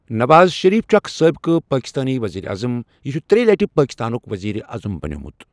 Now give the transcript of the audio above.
نواز شریف چھُ اَکھ سٲبِقہٕ پٲکِستٲنۍ ؤزیٖرِ اَعظَم یہِ چھُ ترٛیٚیہ لٹہ پٲکِستانُک ؤزیٖرِ اَعظَم بنیومت۔